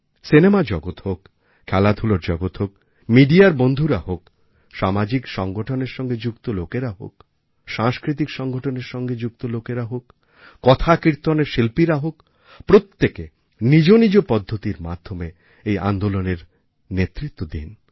cinema জগত হোক খেলাধূলার জগত হোক মিডিয়ার বন্ধুরা হোক সামাজিক সংগঠনের সঙ্গে যুক্ত লোকেরা হোক সাংস্কৃতিক সংগঠনের সঙ্গে যুক্ত লোকেরা হোক কথাকীর্তনের শিল্পীরা হোক প্রত্যেকে নিজ নিজ পদ্ধতির মাধ্যমে এই আন্দোলনের নেতৃত্ব দিন